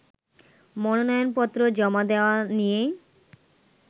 মনোনয়নপত্র জমা দেয়া নিয়ে